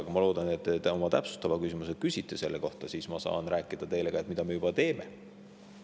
Aga ma loodan, et te oma täpsustava küsimuse küsite ka selle kohta ja siis ma saan teile rääkida, mida me juba teeme.